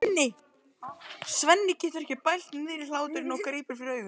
Svenni getur ekki bælt niðri hláturinn og grípur fyrir augun.